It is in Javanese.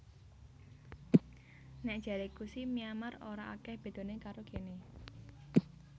Nek jareku si Myanmar ora akeh bedone karo kene